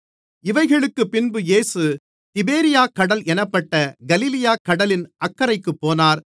இவைகளுக்குப் பின்பு இயேசு திபேரியாக்கடல் என்னப்பட்ட கலிலேயாக் கடலின் அக்கரைக்குப் போனார்